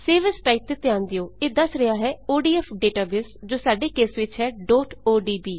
save as type ਤੇ ਧਿਆਨ ਦਿਓ160 ਇਹ ਦੱਸ ਰਿਹਾ ਹੈ ਓਡੀਐਫ ਡੇਟਾਬੇਸ ਜੋ ਸਾਡੇ ਕੇਸ ਵਿੱਚ ਹੈ odb